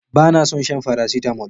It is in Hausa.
Bana son shan faracetamol